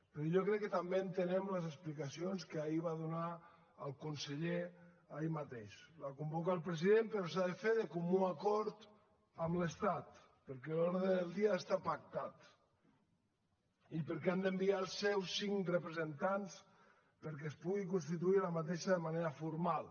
però jo crec que també entenem les explicacions que ahir va donar el conseller ahir mateix la convoca el president però s’ha de fer de comú acord amb l’estat perquè l’ordre del dia ha d’estar pactat i perquè han d’enviar els seus cinc representants perquè es pugui constituir aquesta de manera formal